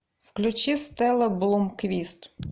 включи стелла блумквист